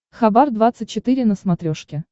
хабар двадцать четыре на смотрешке